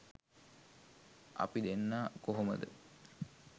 අපි දෙන්න කොහොමද